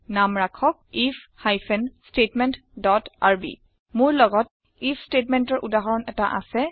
নাম ৰাখক if hyphen statement dot RB মোৰ লগত আইএফ statementৰ উদাহৰণ এটা আছে